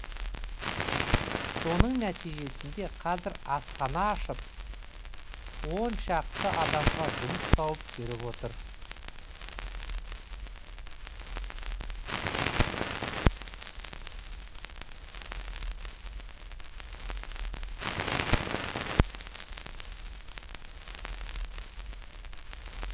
соның нәтижесінде қазір асхана ашып он шақты адамға жұмыс тауып беріп отыр